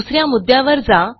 दुस या मुद्यावर जा